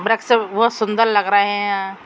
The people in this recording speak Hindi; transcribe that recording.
बृच्छ सब बोहोत सुन्दर लग रहे हैं।